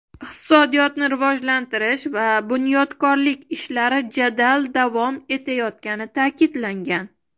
iqtisodiyotni rivojlantirish va bunyodkorlik ishlari jadal davom etayotgani ta’kidlangan.